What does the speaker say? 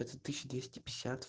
тысяча двести пятьдесят